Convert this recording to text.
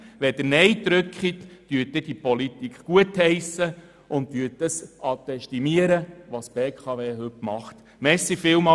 Wenn Sie nein stimmen, heissen Sie diese Politik gut und ästimieren, was die BKW heute tut.